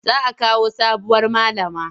Za a kawo sabuwar malama.